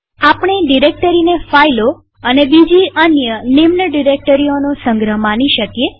આપણે ડિરેક્ટરીને ફાઈલો અને બીજી અન્ય નિમ્નસબડિરેક્ટરીઓનો સંગ્રહ માની શકીએ